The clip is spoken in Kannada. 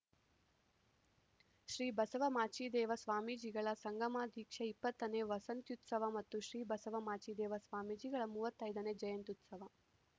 ಶ್ರೀ ಬಸವ ಮಾಚಿದೇವ ಸ್ವಾಮೀಜಿಗಳ ಸಂಗಮದೀಕ್ಷಾ ಇಪ್ಪತ್ತನೇ ವಸಂತ್ಯುತ್ಸವ ಮತ್ತು ಶ್ರೀ ಬಸವ ಮಾಚಿದೇವ ಸ್ವಾಮೀಜಿಗಳ ಮೂವತ್ತೈದನೇ ಜಯಂತ್ಯುತ್ಸವ